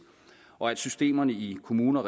og at systemerne i kommunerne og